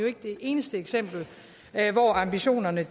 ikke det eneste eksempel hvor ambitionerne